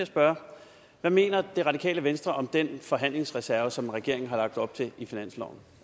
spørge hvad mener det radikale venstre om den forhandlingsreserve som regeringen har lagt op til i finansloven